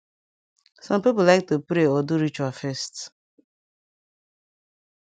sum pipu lyk to pray or do ritual first